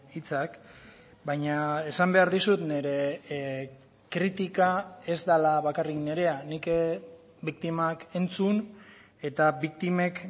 hitzak baina esan behar dizut nire kritika ez dela bakarrik nirea nik biktimak entzun eta biktimek